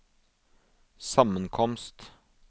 sammenkomst